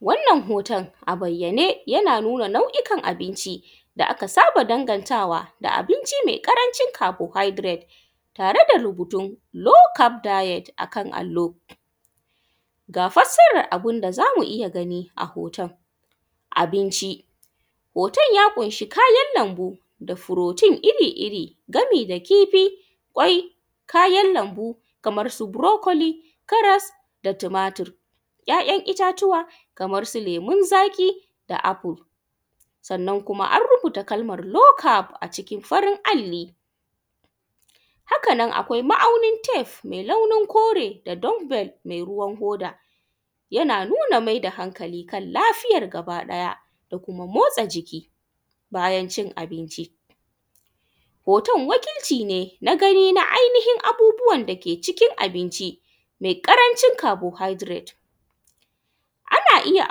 Wannan hoton a bayyane yana nuna nau’ikan abinci da aka saba dangantawa da abinci me kancin carbohydrate tare da rubutun lokaldite a allo ga fassaran abin da za mu iya gani a hoton. Abinci, hoton ya ƙunshi kayan lanbu da furotin iri-iri gami da kifi, kwai, kayan lanbu kamarsu burukli, karas, da tumatur, ‘ya’yan itatuwa kamansu lemunzaƙi da afful sannan kuma an rubuta kalaman low cam a ciki da farin alli, hakanan akwai ma’aunin tafe me launin kure da log bell me ruwan hoda yana nuna maida hankali kan lafiyan gaba ɗaya da kuma motsa jiki bayan cin abinci. Hoton wakilcine na gani na ainihin abubuwan dake cikin abinci me ƙarancin carbohydrate.ana iya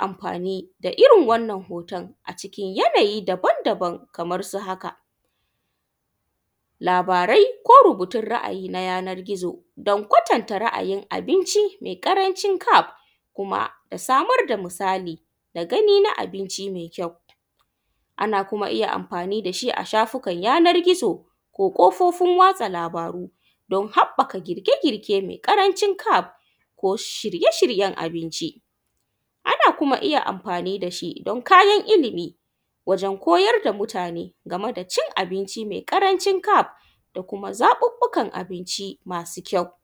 anfani da irn wannan hoton cikin yanayi daban daban kamarsu haka: labarai ko rubutun ra’ayina a yanar gizo don kwatanta yanayin abinci ƙarancin kaf mara samar da misali da gani na binci me kyau ana iya kuma anfani da shi ma shafukan yanan gizo ko ƙofofin watsa labaru dun haɓɓaka gike-girke me ƙarancin cab ko shirye-shiryen abinci ana kuma iya anfani da shi don kayan ilimi wajen kular da mutane game da cin abinci me ƙarancin cab da kuma zaɓuɓɓukan abinci masu kyau.